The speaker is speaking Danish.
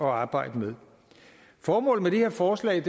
arbejde med formålet med det her forslag